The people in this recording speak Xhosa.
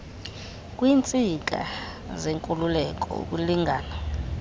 kwiintsika zenkululeko ukulingana